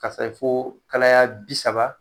Ka se fo kalaya bi saba